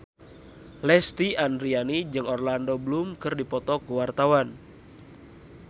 Lesti Andryani jeung Orlando Bloom keur dipoto ku wartawan